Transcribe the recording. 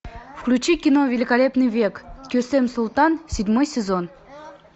включи кино великолепный век кесем султан седьмой сезон